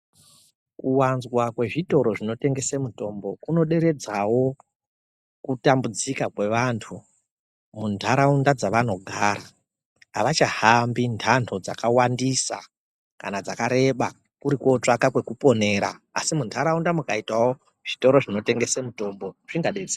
Kuwanzwa kwezvitoro zvinotengese mutombo kunoderedzawo kutambudzika kwevantu muntaraunda dzavanogara, avachahambi ndando dzakawandisa kana dzakareba kuri kutsvaga kwekuponera asi muntaraunda mukaitawo zvitoro zvinotengese mutombo zvingadetsera.